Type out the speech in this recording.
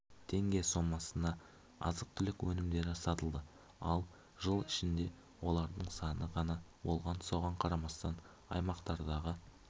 теңге сомасына азық-түлік өнімдері сатылды ал жыл ішінде олардың саны ғана болған соған қарамастан аймақтардағы